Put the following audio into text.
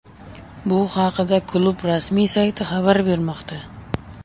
Bu haqida klub rasmiy sayti xabar bermoqda .